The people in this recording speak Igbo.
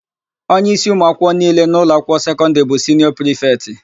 Onyeísí ụmụakwụkwọ niile n'ụlọakwụkwọ sekọndịrị bụ siniọ prịfetị.